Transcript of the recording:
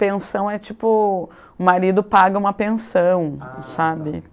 Pensão é tipo... O marido paga uma pensão, sabe? Ah tá